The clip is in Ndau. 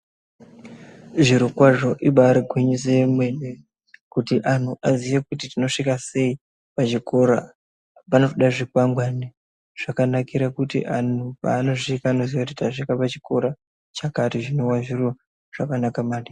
Zvirokwazvo ibari gwinyiso yemene kuti antu aziye kuti tinosvika sei kuzvikora. Panoda zvikwangwani zvakanakira kuti antu paanosvika anoziya kuti tasvika pachikora chakati zvinova zviro zvakanaka maningi.